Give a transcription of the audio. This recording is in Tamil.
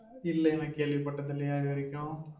இல்லையே நான் கேள்வி பட்டது இல்லையா இதுவரைக்கும்